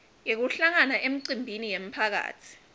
yekuhlangana emicimbini yemphakatsi